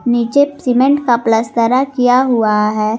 नीचे सीमेंट का पलस्तरा किया हुआ है।